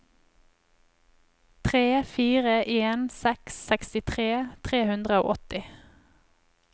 tre fire en seks sekstitre tre hundre og åtti